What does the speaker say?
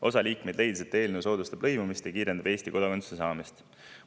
Osa liikmeid leidis, et eelnõu soodustab lõimumist ja kiirendab Eesti kodakondsuse saamist.